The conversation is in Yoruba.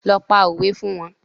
Lọ pa òwe fún wọn